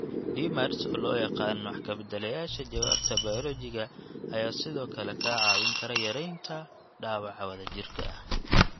DMARDS oo loo yaqaan wax ka beddelayaasha jawaabta bayoolojiga ayaa sidoo kale kaa caawin kara yaraynta dhaawaca wadajirka ah.